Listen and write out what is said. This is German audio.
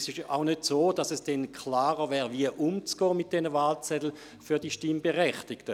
Es ist auch nicht so, dass es dann für die Stimmberechtigten klarer wäre, wie mit diesen Wahlzetteln umzugehen wäre.